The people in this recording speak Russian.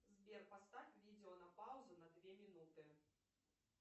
сбер поставь видео на паузу на две минуты